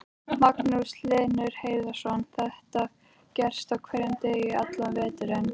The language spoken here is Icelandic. Magnús Hlynur Hreiðarsson: Þetta gerist á hverjum degi allan veturinn?